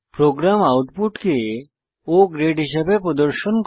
programme আউটপুটে O grade হিসাবে প্রদর্শন করে